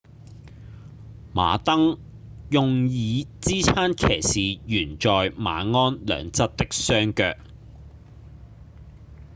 馬鐙用以支撐騎士懸在馬鞍兩側的雙腳